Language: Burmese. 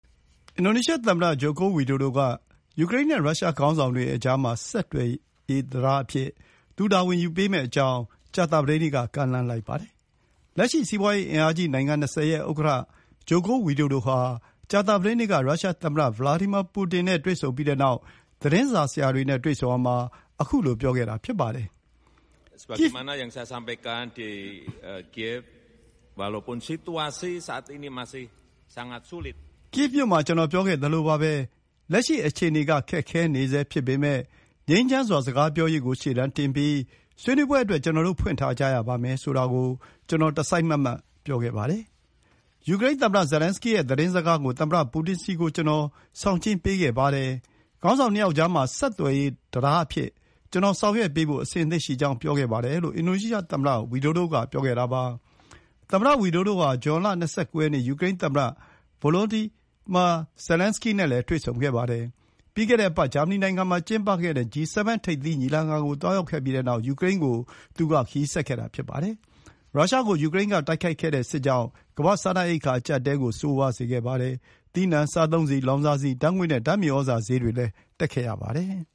အင်ဒိုနီးရှားသမ္မတ Joko Widodo က ယူကရိန်းနဲ့ ရုရှား ခေါင်းဆောင်တွေကြားမှာ ဆက်သွယ်ရေးတံတားအဖြစ် သူ တာဝန်ယူပေးမယ့်အကြောင်း ကြာသပတေးနေ့က ကမ်းလှမ်းလိုက်ပါတယ်။ လက်ရှိ စီးပွါးရေးအင်အားကြီးနိုင်ငံ ၂၀ ရဲ့ ဥက္ကဋ္ဌ Joko Widodo ဟာ ကြာသပတေးနေ့က ရုရှားသမ္မတ Vladimir Putin နဲ့ တွေ့ဆုံပြီးနောက် သတင်းစာဆရာတွေနဲ့ တွေ့ဆုံရာမှာ ခုလိုပြောခဲ့တာဖြစ်ပါတယ်။ “ကိဗ်မြို့မှာ ကျနော်ပြောခဲ့သလိုပါပဲ၊ လက်ရှိအခြေအနေက ခက်ခဲနေဆဲ ဖြစ်ပေမယ့် ငြိမ်းချမ်းစွာစကားပြောရေးကို ရှေ့တန်းတင်ပြီး ဆွေးနွေးပွဲအတွက် ကျနော်တို့ ဖွင့်ထားကြရမယ်ဆိုတာကို တစိုက်မတ်မတ် ပြောခဲ့ပါတယ်။ ယူကရိန်းသမ္မတ Zelenskiy ရဲ့ သတင်းစကားကို သမ္မတပူတင်ဆီကို ကျနော် ဆောင်ကျဉ်းပေးခဲ့ပါတယ်။ ခေါင်းဆောင် ၂ ယောက်ကြားမှာ ဆက်သွယ်ရေး တံတားအဖြစ် ကျနော် ဆောင်ရွက်ပေးဖို့ အဆင်သင့်ရှိကြောင်း ပြောခဲ့ပါတယ်။” လို့ အင်ဒိုနီးရှားသမ္မတ Widodo က ပြောခဲ့တာပါ။ သမ္မတဝီဒိုဒိုဟာ ဇွန်လ ၂၉ ရက်နေ့ က ယူကရိန်းသမ္မတ Volodymyr Zelenskiy နဲ့ တွေ့ဆုံခဲ့ပါတယ်။ ပြီးခဲ့တဲ့အပတ် ဂျာမနီနိုင်ငံမှာကျင်းပခဲ့တဲ့ G7 ထိပ်သီးညီလာခံကို သွားရောက်ခဲ့ပြီးနောက် ယူကရိန်းကို ခရီးဆက်ခဲ့တာ ဖြစ်ပါတယ်။ ရုရှားကို ယူကရိန်းက တိုက်ခိုက်တဲ့စစ်ကြောင့် ကမ္ဘာ့ စားနပ်ရိက္ခာ အကျပ်အတည်းကို ဆိုးဝါးစေခဲ့ပါတယ်။ သီးနှံ၊ စားသုံးဆီ၊ လောင်စာဆီ၊ ဓာတ်ငွေ့နဲ့ ဓာတ်မြသြဇာဈေးတွေတက်ခဲ့ပါတယ်။